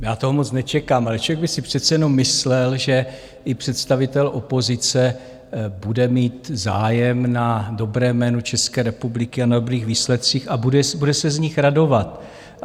Já toho moc nečekám, ale člověk by si přece jenom myslel, že i představitel opozice bude mít zájem na dobrém jménu České republiky a na dobrých výsledcích a bude se z nich radovat.